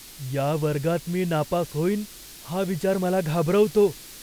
या वर्गात मी नापास होईन हा विचार मला घाबरवतो.